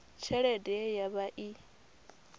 tshelede ye ya vha i